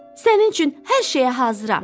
Sənin üçün hər şeyə hazıram.